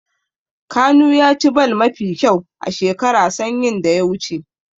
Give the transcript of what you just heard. Kanu ya ci ball mafi kyau a shekara sanyin da ya wuce.